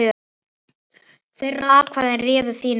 Þeirra atkvæði réðu þínum frama.